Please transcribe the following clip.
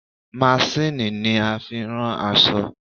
Masíìnnì ni a fi ń rán aṣọ.